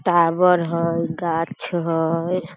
Tower हई गाछ हई।